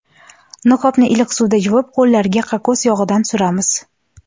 Niqobni iliq suvda yuvib, qo‘llarga kokos yog‘idan suramiz.